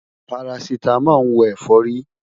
Parasítámọ̀ ń wo ẹ̀fọ́rí.